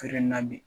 Feere na bi